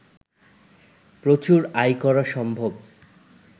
প্রচুর আয় করা সম্ভব